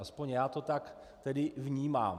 Aspoň já to tak tedy vnímám.